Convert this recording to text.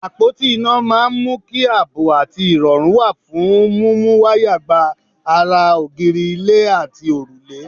Àpóti iná máa ń mú kí àbọ̀ àti ìrọ̀rù wà fún múmú wáyà gba ara ògiri, ilẹ̀, àti òrùlé.